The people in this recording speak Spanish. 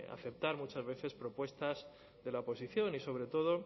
aceptar muchas veces propuestas de la oposición y sobre todo